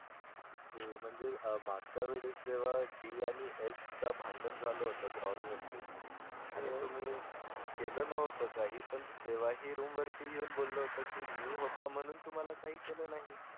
ते म्हणजे मागच्या वेळेस जेव्हा D आणि S चा भांडण झालं होतं ग्राउंड वरती आणि तुम्ही केलं नव्हतं काही पण तेव्हाही रूम वरती येऊन बोललं होतं की मी होता म्हणून तुम्हाला काही केलं नाही.